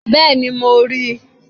Bẹ́ẹ̀ni mo ríi